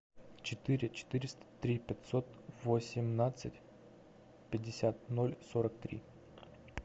четыре четыреста три пятьсот восемнадцать пятьдесят ноль сорок три